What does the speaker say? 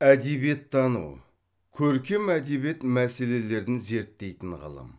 әдебиеттану көркем әдебиет мәселелерін зерттейтін ғылым